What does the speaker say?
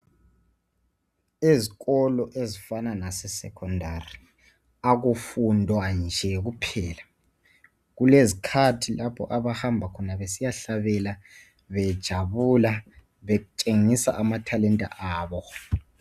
Ezikolo ezifana nase secondary. Kakufundwa nje kuohela. Kulezikhathi lapho abahamba khona besiyahlabela, bejabula. Betshengisa amathalenta abo.